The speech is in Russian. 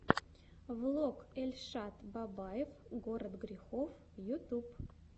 влог эльшад бабаев город грехов ютьюб